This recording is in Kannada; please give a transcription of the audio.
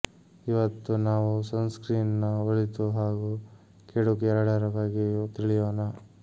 ಇವತ್ತು ನಾವು ಸನ್ಸ್ಕ್ರೀನ್ ನ ಒಳಿತು ಹಾಗೂ ಕೆಡುಕು ಎರಡರ ಬಗ್ಗೆಂುೂ ತಿಳಿಂುೋಣ